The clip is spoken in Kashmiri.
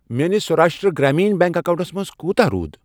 میٲنِس سَوراشٹرٛا گرٛامیٖن بیٚنٛک اکاونٹَس منٛز کوتاہ روٗد؟